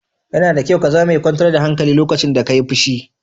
Yana da kyau ka zama mai kyantar da hankali lokacin da ka yi fushi.